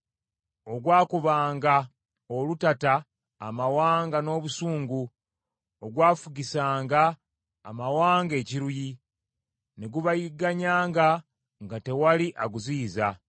Ogwakubanga olutata amawanga n’obusungu, ogwafugisanga amawanga ekiruyi, ne gubayigganyanga nga tewali aguziyiza.